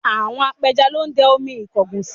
Àwọn apẹja lọ dẹ omi ìkọgùsì